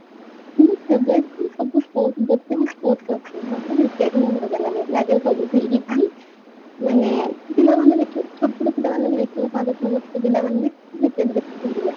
ମୁଁ କେବେ ବି ସବୁ ଯେତେ state ଅଛି ମତେ ଜିତିବାକୁ ହିଁ ଭଲ ଲାଗେ ଲାଗେ ସବୁଠି ମାନେ ମାନେ ଛୋଟ ପିଲା ମାନଙ୍କୁ ଦେଖିବାକୁ ଭଲ ଲାଗେ